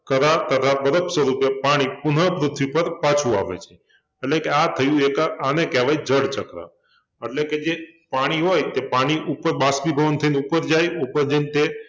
કરા તથા બરફ સ્વરૂપે પાણી પુનઃ પૃથ્વી પર પાછુંં આવે છે એટલે કે આ થયુ એક આ આને કહેવાય જળચક્ર એટલે કે જે પાણી હોય તે પાણી ઉપર બાષ્પીભવન થઈને ઉપર જાય ઉપર જઈને તે